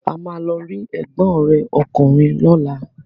A máa lọ rí ẹ̀gbọ́n rẹ̀ ọkùnrin lọ́la.